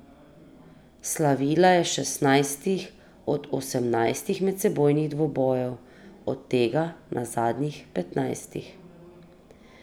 Slavila je na šestnajstih od osemnajstih medsebojnih dvobojev, od tega na zadnjih petnajstih.